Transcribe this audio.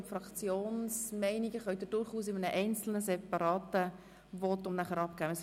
Die Meinungen der Fraktionen können Sie durchaus in einem einzelnen separaten Votum abgeben.